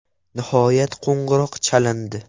Nihoyat qo‘ng‘iroq chalindi.